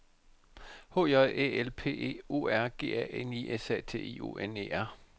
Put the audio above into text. H J Æ L P E O R G A N I S A T I O N E R